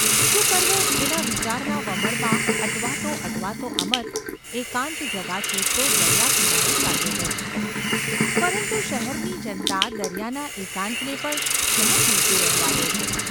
શું કરવું એના વિચારના વમળમાં અટવાતો અટવાતો અમર એકાંત જગા શોધતો દરિયાકિનારે ચાલ્યો ગયો; પરંતુ શહેરની જનતા દરિયાના એકાંતને પણ ક્યાં જીવતું રહેવા દે છે?